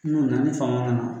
Mun ni faamaw na